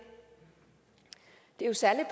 er jo særlig